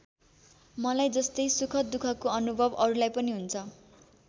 मलाई जस्तै सुखदुःखको अनुभव अरूलाई पनि हुन्छ।